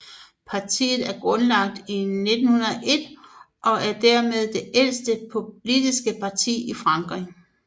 Partiet er grundlagt i 1901 og er dermed det ældste politiske parti i Frankrig